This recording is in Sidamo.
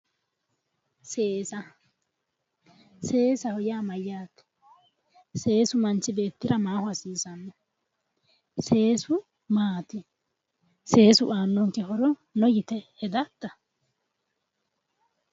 Seesa seesaho yaa mayyate seesu manchi beettira maaho hasiisanno seesu maati seesu aannonke horo no yite hedatta?